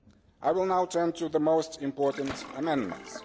I will now turn to the most important amendments.